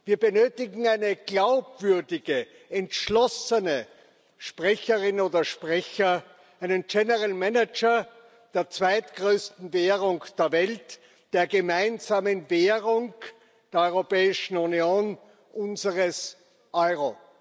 Wir benötigen eine glaubwürdige, entschlossene Sprecherin oder Sprecher, einen General Manager der zweitgrößten Währung der Welt, der gemeinsamen Währung der Europäischen Union, unseres Euro.